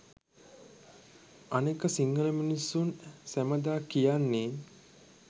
අනෙක සිංහල මිනිස්සුන් සැමදා කියන්නේ